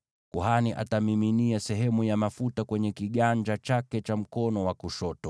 Kuhani atamiminia sehemu ya mafuta kwenye kiganja chake cha mkono wa kushoto,